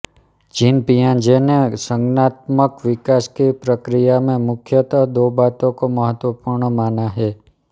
gene पियाजे ने संज्ञानात्मक विकास की प्रकिया में मुख्यतः दो बातों को महत्वपूर्ण माना है